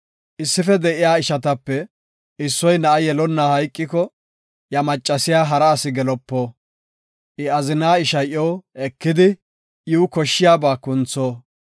Issife de7iya ishatape issoy na7a yelonna hayqiko, iya machiya hara asi gelopo. I azinaa ishay iyo ekidi, iw koshshiyaba kuntho.